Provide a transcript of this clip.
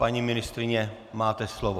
Paní ministryně, máte slovo.